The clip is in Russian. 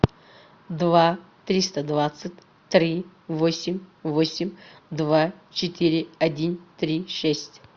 два триста двадцать три восемь восемь два четыре один три шесть